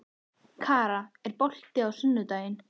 Kara, er bolti á sunnudaginn?